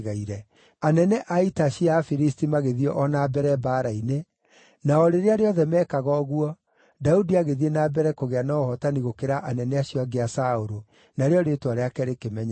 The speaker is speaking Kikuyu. Anene a ita cia Afilisti magĩthiĩ o na mbere mbaara-inĩ, na o rĩrĩa rĩothe meekaga ũguo, Daudi agĩthiĩ na mbere kũgĩa na ũhootani gũkĩra anene acio angĩ a Saũlũ, narĩo rĩĩtwa rĩake rĩkĩmenyeka mũno.